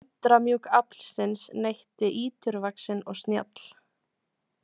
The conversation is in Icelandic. Undramjúkt aflsins neytti íturvaxinn og snjall.